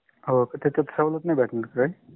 होका. तिथे सवलत नाही भेटनार का काही